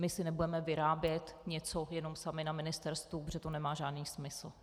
My si nebudeme vyrábět něco jenom sami na ministerstvu, protože to nemá žádný smysl.